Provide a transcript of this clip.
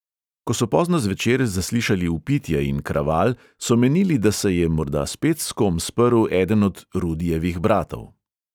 Ko so pozno zvečer zaslišali vpitje in kraval, so menili, da se je morda spet s kom sprl eden od rudijevih bratov.